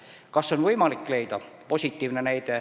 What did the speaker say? Kas inimesi on võimalik leida?